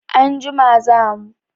Anjima za mu.